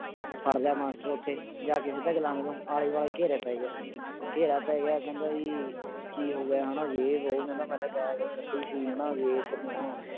ਫੜ ਲਿਆ ਮਾਸਟਰ ਉੱਥੇ ਜਾ ਕੇ ਸਿੱਧਾ ਗੁਲਾਮੇ ਤੋਂ ਆਲੇ ਦੁਆਲੇ ਘੇਰੇ ਪੈ ਗਿਆ ਘੇਰਾ ਪੈ ਗਿਆ ਕਹਿੰਦਾ ਜੀ ਕੀ ਹੋ ਗਿਆ ਹਨਾ ਜੇ ਵੋਹ ਕਹਿੰਦਾ ਮੈਂ ਕਿਹਾ ਗਾਲ ਕੱਢੀ ਸੀ ਹਨਾ ਵੀ ਤੈਨੂੰ ਹੁਣ